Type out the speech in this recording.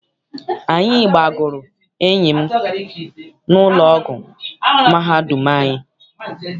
Anyị gbọgara enyi m n'ụlọ ọgwụ mahadum anyị.